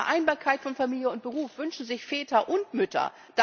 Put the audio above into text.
Die Vereinbarkeit von Familie und Beruf wünschen sich Väter und Mütter.